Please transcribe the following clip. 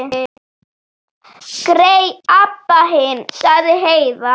Grey Abba hin, sagði Heiða.